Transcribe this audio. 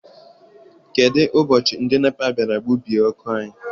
Kedụ ụbọchị ndị NEPA bịara gbubie ọkụ anyị?